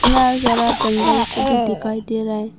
सारा जंगल को भी दिखाई दे रहा है।